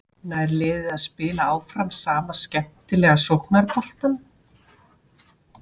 Nær liðið að spila áfram sama skemmtilega sóknarboltann?